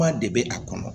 Kuma de bɛ a kɔnɔ